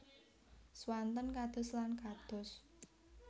Swanten kados lan kados